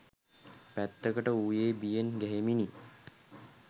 පැත්තකට වූයේ බියෙන් ගැහෙමිනි